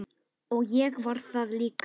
Og ég var það líka.